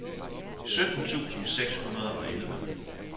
sytten tusind seks hundrede og elleve